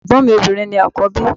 Ẹ̀gbọ́n mi obìnrin ni àkọ́bí.